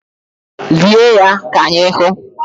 Lie ya ka anyị hụ!